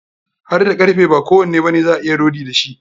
Hadda karfe, ba kowanne bane za a iya rodi da shi.